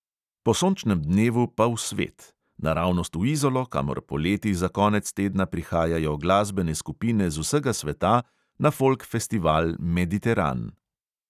Po sončnem dnevu pa v svet – naravnost v izolo, kamor poleti za konec tedna prihajajo glasbene skupine z vsega sveta na folk festival mediteran.